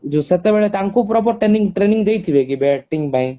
ଯୋଉ ସେତେବେଳେ ତାଙ୍କୁ proper training training ଦେଇଥିବେ କି bating ପାଇଁ?